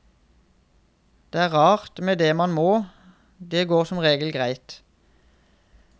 Det er rart med det man må, det går som regel greit.